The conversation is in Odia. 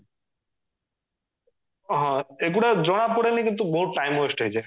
ହଁ ଏଇଗୁଡା ଜଣାପଡ଼େନି କିନ୍ତୁ ବହୁତ time waste ହେଇଯାଏ